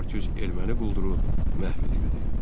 400 erməni qulduru məhv edildi.